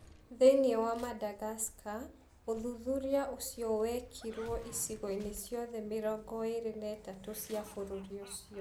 Thĩinĩ wa Madagascar, ũthuthuria ũcio wekirũo icigo-inĩ ciothe 23 cia bũrũri ũcio.